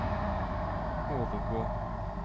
overgå